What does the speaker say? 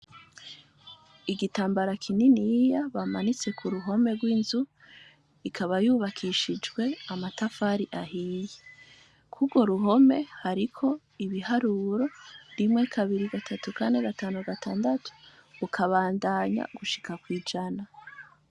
Igitambara kininiya bamanitse ku ruhome rw'inzu. Ikaba yubakishijwe amatafari ahiye. Kw'urwo ruhome hariko ibiharuro; rimwe, kabiri. gatatu, kane, gatanu, gatandatu, ukabandanya gushika kw'ijana.